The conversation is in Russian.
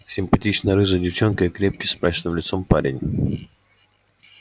симпатичная рыжая девчонка и крепкий с мрачным лицом парень